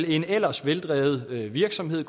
en ellers veldrevet virksomhed